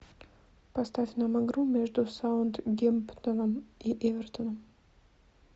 поставь нам игру между саутгемптоном и эвертоном